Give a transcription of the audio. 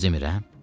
Düz demirəm?